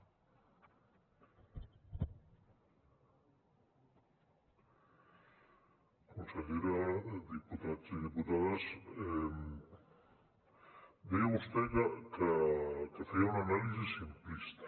consellera diputats i diputades deia vostè que feia una anàlisi simplista